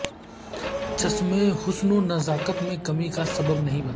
چشمہ حسن و نزاکت میں کمی کا سبب نہیں بنتا